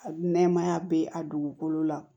A nɛɛmaya bɛ a dugukolo la